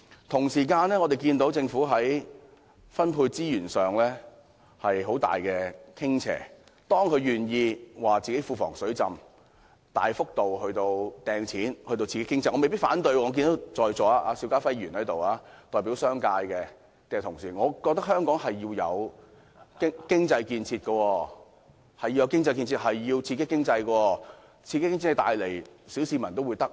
同時，我們看到政府在分配資源上有很大傾斜，當它願意指出庫房"水浸"，大幅度"派錢"至傾斜時，我對此未必反對，我看到代表商界的邵家輝議員在席，我也認為香港需要經濟建設、刺激經濟，令小市民得益。